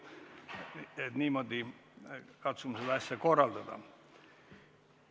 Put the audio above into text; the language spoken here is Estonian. Katsume niimoodi seda asja korraldada.